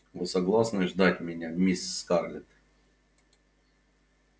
вы согласны ждать меня мисс скарлетт